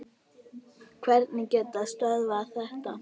Hverjir geta stöðvað þetta?